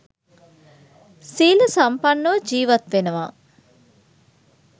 සීල සම්පන්නව ජීවත් වෙනවා.